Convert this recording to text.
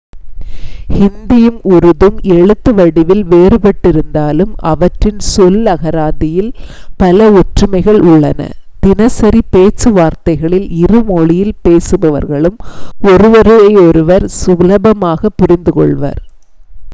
ஹிந்தியும் உருதும் எழுத்து வடிவில் வேறுபட்டிருந்தாலும் அவற்றின் சொல் அகராதியில் பல ஒற்றுமைகள் உள்ளன தினசரி பேச்சுவார்த்தைகளில் இரு மொழியில் பேசுபவர்களும் ஒருவரையொருவர் சுலபமாக புரிந்து கொள்வர்